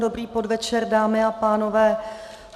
Dobrý podvečer, dámy a pánové.